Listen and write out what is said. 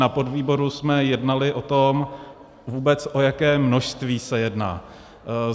Na podvýboru jsme jednali o tom, vůbec o jaké množství se jedná.